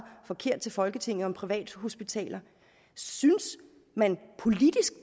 forkert til folketinget om privathospitaler synes man politisk